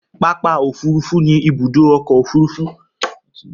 Pápà̀ òfurufú ni ibùdó ọkọ̀ òfurufú